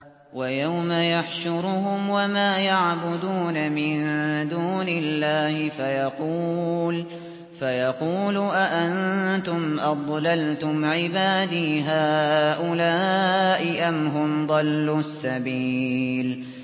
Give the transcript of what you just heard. وَيَوْمَ يَحْشُرُهُمْ وَمَا يَعْبُدُونَ مِن دُونِ اللَّهِ فَيَقُولُ أَأَنتُمْ أَضْلَلْتُمْ عِبَادِي هَٰؤُلَاءِ أَمْ هُمْ ضَلُّوا السَّبِيلَ